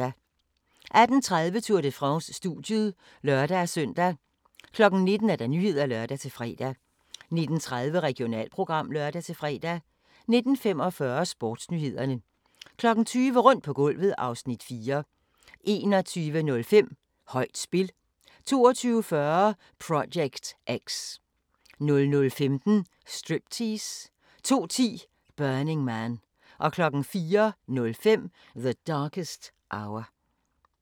18:30: Tour de France: Studiet (lør-søn) 19:00: Nyhederne (lør-fre) 19:30: Regionalprogram (lør-fre) 19:45: Sportsnyhederne 20:00: Rundt på gulvet (Afs. 4) 21:05: Højt spil 22:40: Project X 00:15: Striptease 02:10: Burning Man 04:05: The Darkest Hour